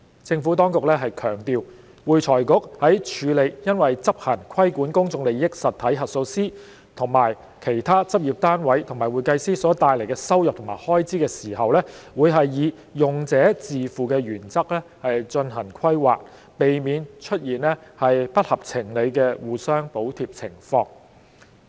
政府當局強調，會財局在處理因執行規管公眾利益實體核數師及其他執業單位和會計師所帶來的收入及開支時，會以用者自付原則進行規劃，避免出現不合情理的互相補貼情況。